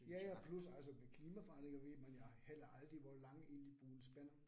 Ja ja plus altså med klimaforandringerne ved man jo heller aldrig hvor lang egentlig buen spænder